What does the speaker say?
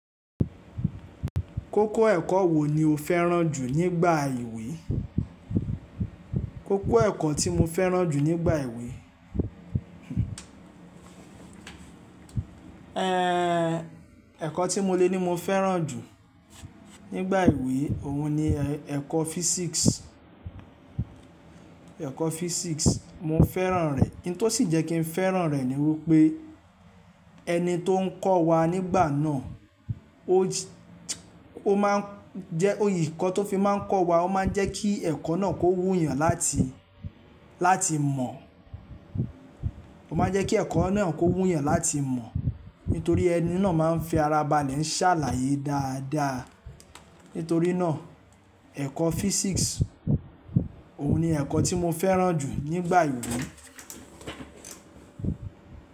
Kókó ẹ̀kọ́ wo ni o fẹ́ràn jù nígbà ìwé? Kókó ẹ̀kọ́ tí mo fẹ́ràn jù nígbà ìwé, ẹ́ẹ̀kọ́ tí mo le ní mo fẹ́ràn jù nígbà ìwé òun ni ẹ̀kọ́ physics, ẹ̀kọ́ physics mo fẹ́ràn rẹ̀. Ohun tó sì jẹ́ kí n fẹ́ràn rẹ̀ ni wípé ẹni tó ń kọ́ wa nígbà náà ó máa ń jẹ́, òyì kọ́ tó fi máa ń kọ́ wa, ó máa ń jẹ́ kí ẹ̀kọ́ náà kó wú yàn láti, láti mọ̀. Ó máa ń jẹ́ kí ẹ̀kọ́ náà kó wú yàn láti mọ̀, nítorí ẹni náà máa ń fi ara balẹ̀ ń ṣàlàyé dáadáa. Nítorí náà ẹ̀kọ́ physics òun ni ẹ̀kọ́ tí mo fẹ́ràn jù nígbà ìwé.